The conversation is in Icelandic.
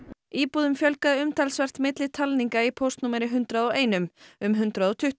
íbúðum fjölgaði umtalsvert milli talninga í póstnúmeri hundrað og einum um hundrað og tuttugu